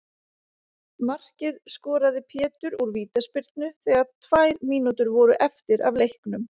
Markið skoraði Pétur úr vítaspyrnu þegar tvær mínútur voru eftir af leiknum.